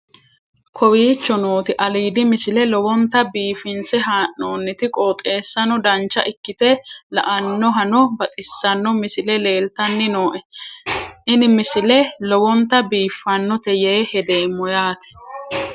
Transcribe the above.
kowicho nooti aliidi misile lowonta biifinse haa'noonniti qooxeessano dancha ikkite la'annohano baxissanno misile leeltanni nooe ini misile lowonta biifffinnote yee hedeemmo yaate